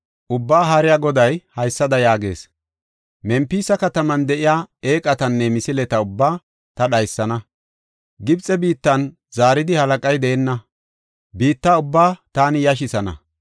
Ubbaa Haariya Goday haysada yaagees: “Mempisa kataman de7iya eeqatanne misileta ubbaa ta dhaysana; Gibxe biittan zaaridi halaqay deenna; biitta ubbaa taani yashisana.